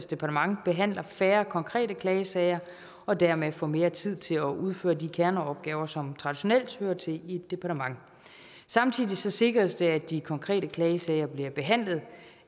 departement behandler færre konkrete klagesager og dermed får mere tid til at udføre de kerneopgaver som traditionelt hører til i et departement samtidig sikres det at de konkrete klagesager bliver behandlet